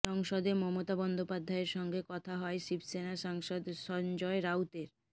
সংসদে মমতা বন্দ্যোপাধ্যায়ের সঙ্গে কথা হয় শিবসেনা সাংসদ সঞ্জয় রাউতের